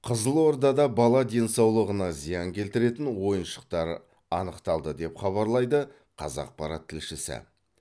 қызылордада бала денсаулығына зиян келтіретін ойыншықтар анықталды деп хабарлайды қазақпарат тілшісі